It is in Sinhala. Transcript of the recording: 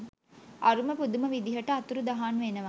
අරුම පුදුම විදිහට අතුරුදහන් වෙනවා.